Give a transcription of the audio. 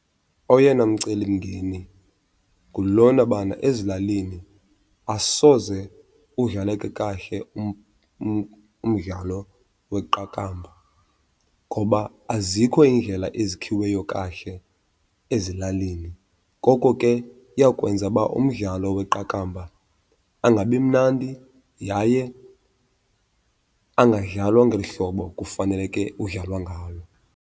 Oyena mcelimngeni ngulona bana ezilalini asoze udlaleke kahle umdlalo weqakamba ngoba azikho iindlela ezikhiweyo kahle ezilalini. Ngoko ke iyawukwenza uba umdlalo weqakamba angabi mnandi yaye angadlalwa ngeli hlobo kufaneleke udlalwa ngalo.